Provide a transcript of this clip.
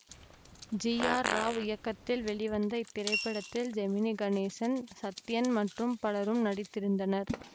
G R Rao இயக்கத்தில் வெளிவந்த இத்திரைப்படத்தில் ஜெமினி கணேசன் சத்யன் மற்றும் பலரும் நடித்திருந்தனர்